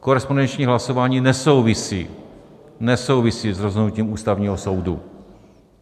Korespondenční hlasování nesouvisí s rozhodnutím Ústavního soudu.